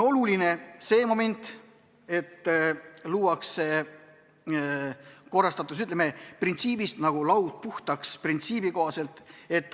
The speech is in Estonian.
Oluline on see moment, et luuakse korrastatus, lähtudes printsiibist "laud puhtaks".